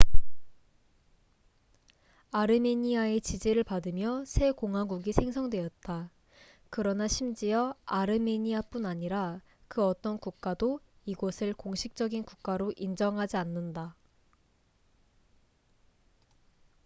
아르메니아의 지지를 받으며 새 공화국이 생성되었다 그러나 심지어 아르메니아뿐 아니라 그 어떤 국가도 이곳을 공식적인 국가로 인정하지 않는다